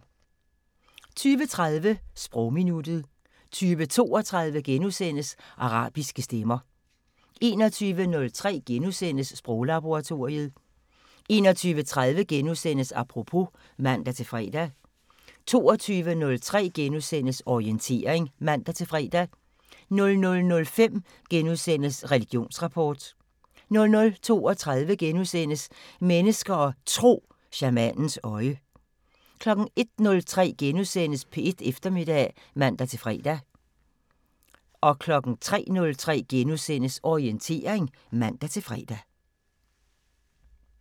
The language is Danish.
20:30: Sprogminuttet 20:32: Arabiske stemmer * 21:03: Sproglaboratoriet * 21:30: Apropos *(man-fre) 22:03: Orientering *(man-fre) 00:05: Religionsrapport * 00:32: Mennesker og Tro: Shamanens øje * 01:03: P1 Eftermiddag *(man-fre) 03:03: Orientering *(man-fre)